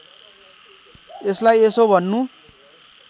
यसलाई यसो भन्नु